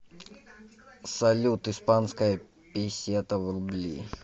салют испанская песета в рубли